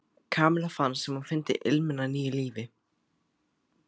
Kamilla fannst sem hún fyndi ilminn af nýju lífi.